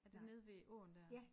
Er det nede ved åen der